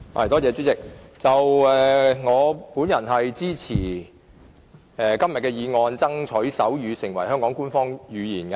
代理主席，我支持今天這項"爭取手語成為香港官方語言"的議案。